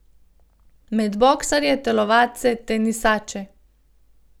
Med boksarje, telovadce, tenisače.